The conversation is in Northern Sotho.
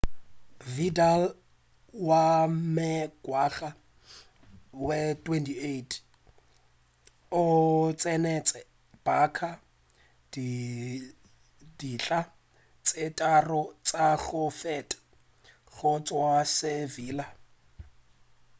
vidal wa mengwaga ye 28 o tsenetše barça ditlha tše tharo tša go feta go tšwa go sevilla